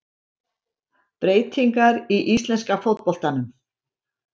Breytingar í íslenska fótboltanum